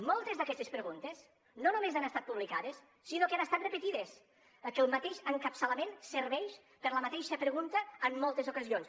moltes d’aquestes preguntes no només han estat publicades sinó que han estat repetides que el mateix encapçalament serveix per a la mateixa pregunta en moltes ocasions